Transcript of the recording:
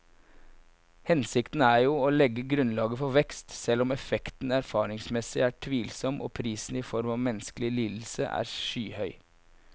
Hensikten er jo å legge grunnlaget for vekst, selv om effekten erfaringsmessig er tvilsom og prisen i form av menneskelige lidelser er skyhøy.